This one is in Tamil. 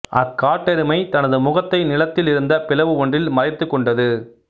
அக்காட்டெருமை தனது முகத்தை நிலத்தில் இருந்த பிளவு ஒன்றில் மறைத்துக் கொண்டது